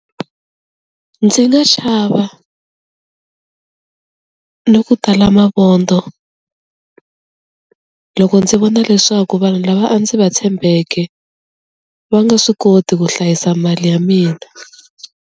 Ndzi nga chava, ni ku tala mavondzo loko ndzi vona leswaku vanhu lava a ndzi va tshembeke va nga swi koti ku hlayisa mali ya mina.